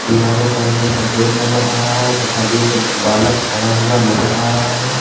दीवारों का रंग सफेद नजर आ रहा है तथा एक बालक खड़ा हुआ नजर आ रहा है।